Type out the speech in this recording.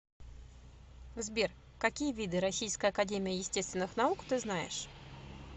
сбер какие виды российская академия естественных наук ты знаешь